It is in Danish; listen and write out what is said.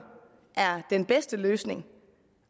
er den bedste løsning